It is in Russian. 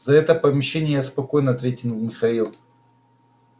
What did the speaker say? за это помещение я спокоен ответил михаил